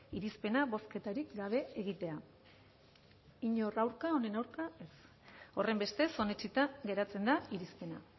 irizpena bozketarik gabe egitea inor aurka honen aurka ez horrenbestez onetsita geratzen da irizpena